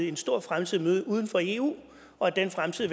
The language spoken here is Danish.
en stor fremtid i møde uden for eu og at den fremtid